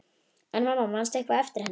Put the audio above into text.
En mamma, manstu eitthvað eftir henni?